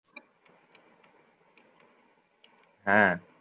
হ্যাঁ